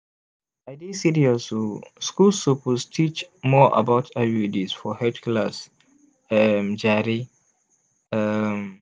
i dey serious oh schools suppose sabi teach more about iuds for health class um jare. um